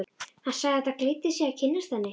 Hann sagði það gleddi sig að kynnast henni.